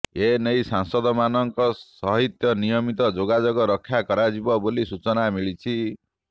ଏ ନେଇ ସାଂସଦମାନଙ୍କ ସହିତ ନିୟମିତ ଯୋଗାଯୋଗ ରକ୍ଷା କରାଯିବ ବୋଲି ସୂଚନା ମିଳିଛି